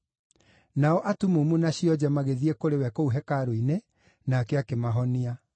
Nao atumumu na cionje magĩthiĩ kũrĩ we kũu hekarũ-inĩ, nake akĩmahonia.